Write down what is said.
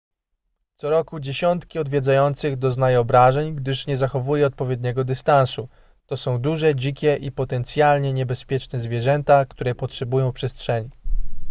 co roku dziesiątki odwiedzających doznaje obrażeń gdyż nie zachowuje odpowiedniego dystansu to są duże dzikie i potencjalnie niebezpieczne zwierzęta które potrzebują przestrzeni